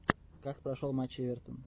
как прошел матч эвертон